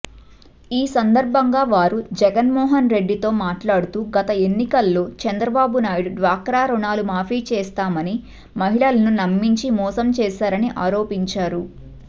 ఈసందర్భంగా వారు జగన్మోహన్రెడ్డితో మాట్లాడుతూ గత ఎన్నికల్లో చంద్రబాబునాయుడు డ్వాక్రా రుణాలు మాఫిచేస్తామని మహిళలను నమ్మించి మోసం చేశారని ఆరోపించారు